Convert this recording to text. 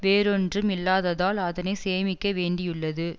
வேறொன்றும் இல்லாததால் அதனை சேமிக்க வேண்டியுள்ளது